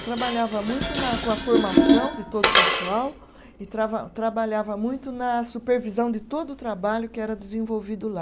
Eu trabalhava muito na com a formação de todo o pessoal e trava, trabalhava muito na supervisão de todo o trabalho que era desenvolvido lá.